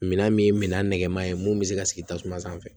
Minan min ye minɛn nɛgɛman ye mun bɛ se ka sigi tasuma sanfɛ